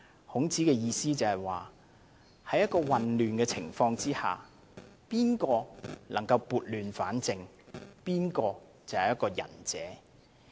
孔子的意思是，在混亂的情況下，誰能夠撥亂反正就是仁者。